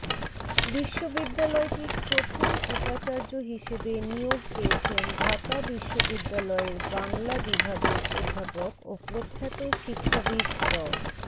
বিশ্ববিদ্যালয়টির প্রথম উপাচার্য হিসেবে নিয়োগ পেয়েছেন ঢাকা বিশ্ববিদ্যালয়ের বাংলা বিভাগের অধ্যাপক ও প্রখ্যাত শিক্ষাবিদ ড